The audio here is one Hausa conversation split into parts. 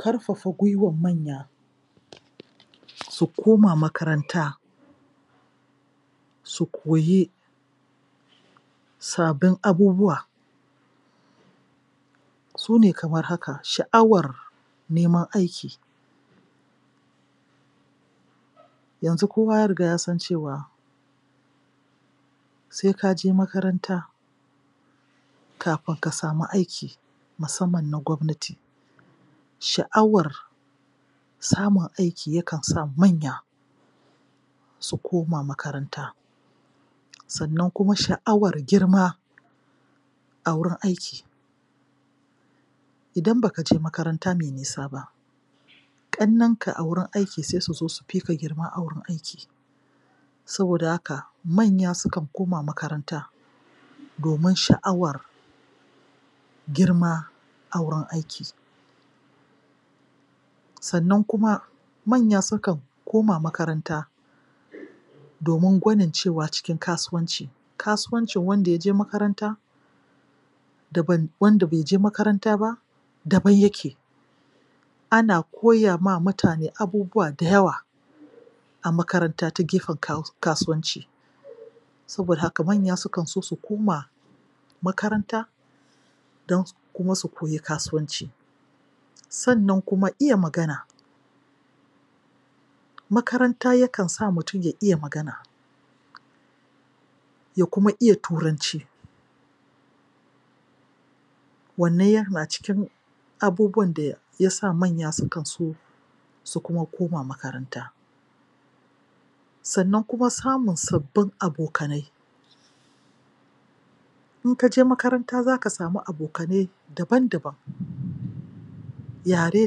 Karfafa gwiwan manya su koma makaranta su koyi sabin abubuwa sune kamar haka sha'awar neman aiki yanzu kowa ya riga ya san cewa se kaje makaranta kafin ka sami aiki musamman na gwabnati sha'awar samun aiki yakan sa manya su koma makaranta sannan kuma sha'awar girma a wurin aiki idan bakaje makaranta me nisa ba ƙannenka a wurin aiki sai suzo su fika girma a wurin aiki saboda haka manya sukan koma makaranta domin sha'awar girma a wurin aiki sannan kuma manya sukan koma makaranta domin gwanin cewa cikin kasuwanci kasuwancin wanda yaje makaranta daban wanda baije makaranta ba daban yake ana koya ma mutane abubuwa da yawa a makaranta ta gefen ka.. kasuwanci saboda haka manya sukanso su koma makaranta don kuma su koyi kasuwanci sannan kuma iya magana makaranta yakan sa mutum ya iya magana ya kuma iya turanci wannan yana cikin abubuwan da yasa manya sukanso su kuma koma makaranta sannan kuma samun sabbin abokanai in kaje makaranta zaka sami abokanai daban-daban yare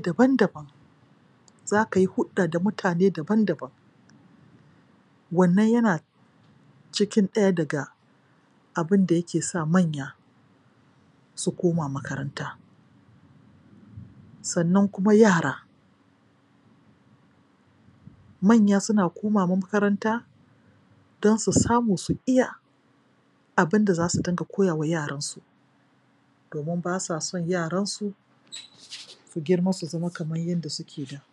daban-daban zakayi hudda da mutane daban-daban wannan yana cikin ɗaya daga abinda yake sa manya su koma makaranta sannan kuma yara manya suna komawa makaranta don su samu su iya abinda zasu dinga koyawa yaransu domin basa son yaransu um su girma su zama kamar yadda suke da pause